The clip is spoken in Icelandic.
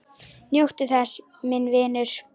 Njóttu þess, minn vinur.